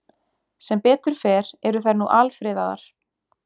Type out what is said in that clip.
Sem betur fer eru þær nú alfriðaðar.